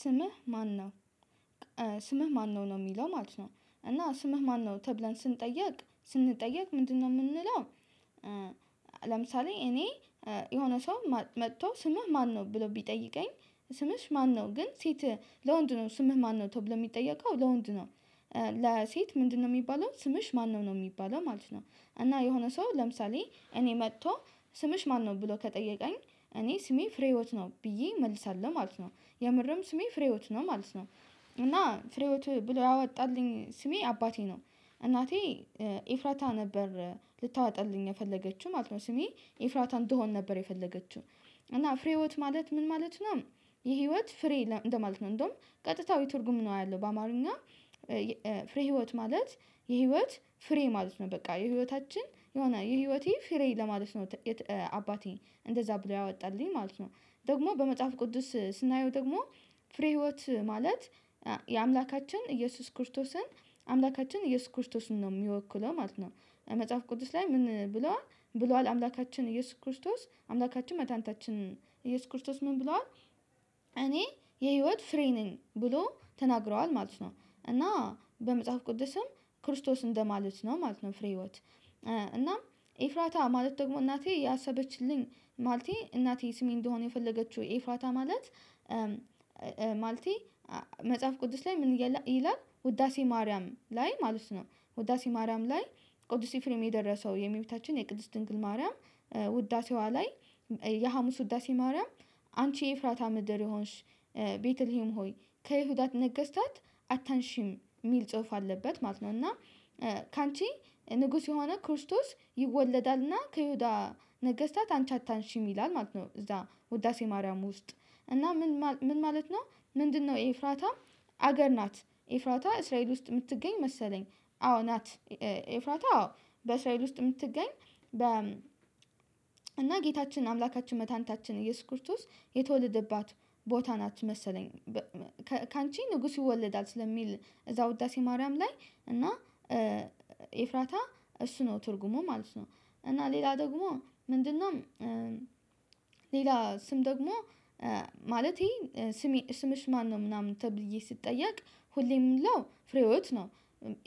ስምህ ማነው? ስምህ ማነው? ነው የሚለው ማለት ነው። እና ስምህ ማነው? ተብለን ስንጠየቅ ስንጠየቅ ምንድነው የምንለው ለምሳሌ እኔ የሆነ ሰው መጥቶ ስምህ ማነው? ብሎ ቢጠይቀኝ ስምሽ ማነው ግን ሴት ለወንድ ነው ስምህ ማነው? ተብሎ የሚጠየቀው ለወንድ ነው ለሴት ምንድነው የሚባለው ስምሽ ማነው ነው? ነው የሚባለው ማለት ነው። እና የሆነ ሰው ለምሳሌ እኔ መጥቶ ስምሽ ማነው? ብሎ ከጠየቀኝ እኔ ስሜ ፍሬህይወት ነው ብዬ እመልሳለሁ ማለት ነው። የምርም ስሜ ፍሬህይወት ነው ማለት ነው። እና ፍሬህይወት ብሎ ያወጣልኝ ስሜ አባቴ ነው። እናቴ ኤፍራታ ነበር ልታወጣልኝ የፈለገችው ማለት ነው። ስሜ ኤፍራታ እንድሆን ነበር የፈለገችው። እና ፍሬህይወት ማለት ምን ማለት ነው የህይወት ፍሬ እንደማለት ነው። እንደውም ቀጥታዊ ትርጉም ነው ያለው በአማርኛ። ፍሬህይወት ማለት የህይወት ፍሬ ማለት ነው። በቃ የህይወታችን የሆነ የህይወቴ ፍሬ ለማለት ነው አባቴ እንደዛ ብሎ ያወጣልኝ ማለት ነው። ደግሞ በመጽሐፍ ቅዱስ ስናየው ደግሞ ፍሬህይወት ማለት የአምላካችን ኢየሱስ ክርስቶስን አምላካችን እየሱስ ክርስቶስን ነው የሚወክለው ማለት ነው። መጽሐፍ ቅዱስ ላይ ምን ብሏል ብሏል አምላካችን ኢየሱስ ክርስቶስ አምላካችን መድኃኒታችን ኢየሱስ ክርስቶስ ምን ብሏል፤ እኔ የህይወት ፍሬ ነኝ ብሎ ተናግሯል ማለት ነው። እና በመጽሐፍ ቅዱስም ክርስቶስ እንደማለት ነው ማለት ነው ፍሬህይወት። እናም ኢፍራታ ማለት ደግሞ እናቴ ያሰበችልኝ ማለቴ እናቴ ስሜ እንዲሆን የፈለገችው፤ ኤፍራታ ማለት ማለቴ መጽሐፍ ቅዱስ ላይ ምን ይላል ውዳሴ ማርያም ላይ ማለት ነው ውዳሴ ማርያም ላይ ቅዱስ ኤፍሬም የደረሰው የእመቤታችን የቅድስት ድንግል ማርያም ውዳሴዋ ላይ፤ የሀሙስ ውዳሴ ማርያም 'አንቺ የኤፍራታ ምድር የሆንሽ ቤተልሄም ሆይ ከይሁዳ ነገስታት አታንሺም' የሚል ጽሁፍ አለበት ማለት ነው። እና 'ካንቺ ንጉስ የሆነ ክርስቶስ ይወለዳልና፤ ከይሁዳ ነገስታት አንቺ አታንሺም' ይላል ማለት ነው እዛ ውዳሴ ማርያም ውስጥ። እና ምን ማለት ነው ምንድነው ኤፍራታ ሀገር ናት። ኤፍራታ እስራኤል ውስጥ የምትገኝ መሰለኝ። አዎ ናት። ኤፍራታ አዎ በእስራኤል ውስጥ የምትገኝ በ እና ጌታችን አምላካችን መድኃኒታችን እየሱስ ክርስቶስ የተወለደባት ቦታ ናት መሰለኝ። ካንቺ ንጉስ ይወለዳል ስለሚል እዛ ውዳሴ ማርያም ላይ እና ኤፍራታ እሱ ነው ትርጉሙ ማለት ነው። እና ሌላ ደግሞ ምንድነው ሌላ ስም ደግሞ ማለቴ ስሜ ስምሽ ማነው? ምናምን ተብዬ ስጠየቅ ሁሌ ምለው ፍሬህይወት ነው።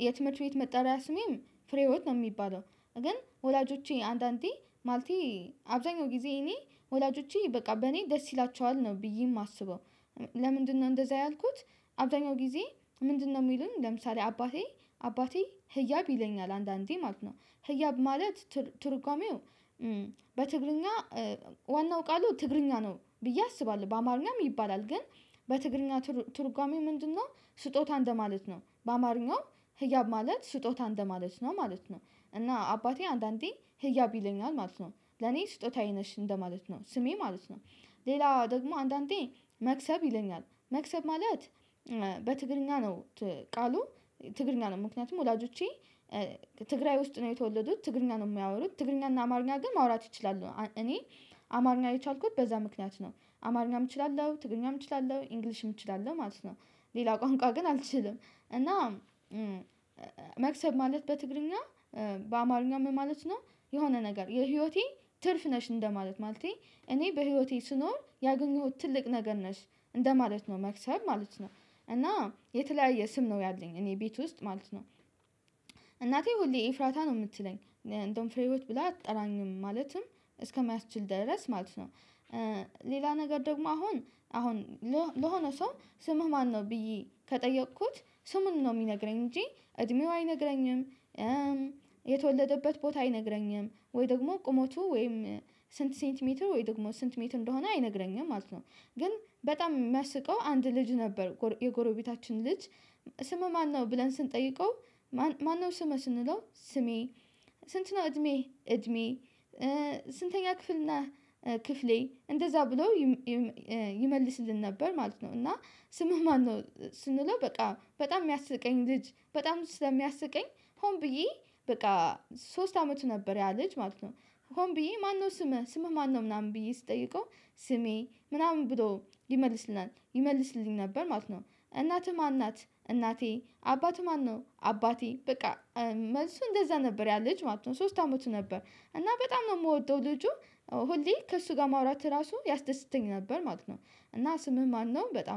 የትምህርት ቤት መጠሪያ ስሜም ፍሬህይወት ነው የሚባለው። ግን ወላጆቼ አንዳንዴ ማለቴ አብዛኛውን ጊዜ እኔ ወላጆቼ በቃ በእኔ ደስ ይላቸዋል ነው ብዬ የማስበው። ለምንድነው እንደዛ ያልኩት አብዛኛው ጊዜ ምንድነው የሚሉን ለምሳሌ አባቴ አባቴ ህያብ ይለኛል አንዳንዴ ማለት ነው ህያብ ማለት ትርጓሜው በትግርኛ ዋናው ቃሉ ትግርኛ ነው ብዬ አስባለሁ። በአማርኛም ይባላል ግን በትግርኛ ትርጓሜው ምንድነው ስጦታ እንደማለት ነው። በአማርኛውም ህያብ ማለት ስጦታ እንደማለት ነው ማለት ነው። እና አባቴ አንዳንዴ ህያብ ይለኛል ማለት ነው። ለኔ ስጦታዬ ነሽ እንደማለት ነው። ስሜ ማለት ነው። ሌላ ደግሞ አንዳንዴ መክሰብ ይለኛል መክሰብ ማለት በትግርኛ ነው ቃሉ ትግርኛ ነው ምክንያቱም ወላጆቼ ትግራይ ውስጥ ነው የተወለዱት። ትግርኛ ነው የሚያወሩት። ትግርኛና አማርኛ ግን ማውራት ይችላሉ። እኔ አማርኛ የቻልኩት በዛ ምክንያት ነው። አማርኛም እችላለሁ፣ ትግርኛም እችላለሁ፣ ኢንግሊሽም እችላለሁ ማለት ነው። ሌላ ቋንቋ ግን አልችልም። እና መክሰብ ማለት በትግርኛ በአማርኛ ምን ማለት ነው የሆነ ነገር የህይወቴ ትርፍ ነሽ እንደማለት፤ ማለቴ እኔ በህይወቴ ስኖር ያገኘሁት ትልቅ ነገር ነሽ እንደማለት ነው መክሰም ማለት ነው። እና የተለያየ ስም ነው ያለኝ እኔ ቤት ውስጥ ማለት ነው። እናቴ ሁሌ ኤፍራታ ነው የምትለኝ እንደውም ፍሬህይወት ብላ አትጠራኝም ማለትም እስከሚያስችል ድረስ ማለት ነው። ሌላ ነገር ደግሞ አሁን አሁን ለሆነ ሰው ስምህ ማነው? ብዬ ከጠየኩት ስሙን ነው የሚነግረኝ እንጂ እድሜው አይነግረኝም የተወለደበት ቦታ አይነግረኝም፤ ወይ ደግሞ ቁመቱ ወይም ስንት ሴንቲሜትር ወይ ደግሞ ስንት ሜት እንደሆነ አይነግረኝም ማለት ነው። ግን በጣም የሚያስቀው አንድ ልጅ ነበር የጎረቤታችን ልጅ ስምህ ማነው? ብለን ስንጠይቀው ማነው ስምህ? ስንለው ስሜ፤ ስንት ነው እድሜህ? እድሜ፤ ስንተኛ ክፍል ነህ? ክፍሌ እንደዛ ብሎ ይመልስልን ነበር ማለት ነው። እና ስምህ ማነው ስንለው በቃ በጣም የሚያስቀኝ ልጅ በጣም ስለሚያስቀኝ ሆን ብዬ በቃ ሶስት አመቱ ነበር ያ ልጅ ማለት ነው። ሆን ብዬ ማነው ስምህ ስምህ ማነው ምናምን ብዬ ስጠይቀው ስሜ ምናምን ብሎ ይመልስልናል ይመልስልኝ ነበር ማለት ነው። እናትህ ማን ናት? እናቴ፤ አባትህ ማነው? አባቴ በቃ መልሱ እንደዛ ነበር ያ ልጅ ማለት ነው። ሶስት አመቱ ነበር እና በጣም ነው የምወደው ልጁ ሁሌ ከእሱ ጋር ማውራት ራሱ ያስደስተኝ ነበር ማለት ነው። እና ስምህ ማነው በጣም